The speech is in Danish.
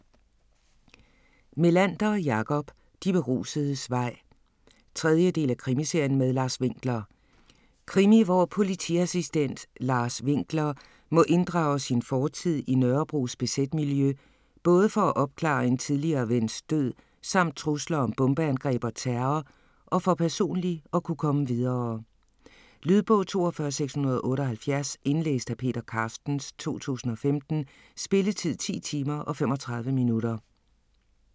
Melander, Jakob: De berusedes vej 3. del af Krimiserien med Lars Winkler. Krimi hvor politiassistent Lars Winkler må inddrage sin fortid i Nørrebros bz-miljø, både for at opklare en tidligere vens død samt trusler om bombeangreb og terror, og for personligt at kunne komme videre. Lydbog 42678 Indlæst af Peter Carstens, 2015. Spilletid: 10 timer, 35 minutter.